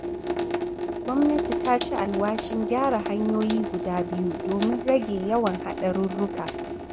Gwannati ta ci alwashin gyara hanyoyi guda biyu domin rage yawan haɗarurruka